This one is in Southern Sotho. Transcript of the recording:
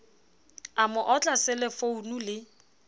a mo otla selefounu le